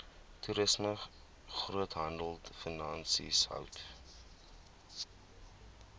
toerisme groothandelfinansies hout